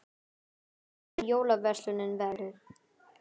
Hvernig hefur jólaverslunin verið?